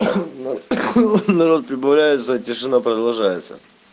народ прибавляется тишина продолжается